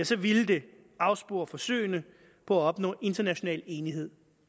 så ville det afspore forsøgene på at opnå international enighed